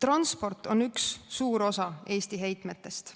Transport on üks suur osa Eesti heitmetest